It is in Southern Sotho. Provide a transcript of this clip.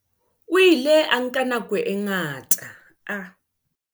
O ile a nka nako e ngata a.